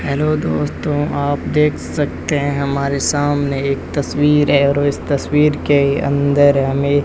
hello दोस्तों आप देख सकते हैं हमारे सामने एक तस्वीर है और इस तस्वीर के अंदर हमें --